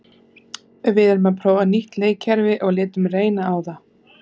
Við erum að prófa nýtt leikkerfi og létum reyna á það.